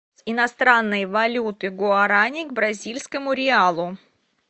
иностранные валюты гуарани к бразильскому реалу